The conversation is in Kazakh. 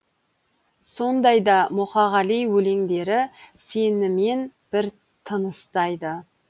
сондай да мұқағали өлеңдері сенімен бір тыныстайды